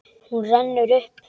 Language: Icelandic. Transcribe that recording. Hún rennur upp.